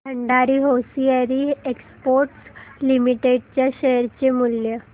Bhandari hosiery exports limited च्या share चे मूल्य